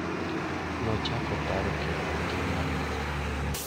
Nochako paro kendo ngimane.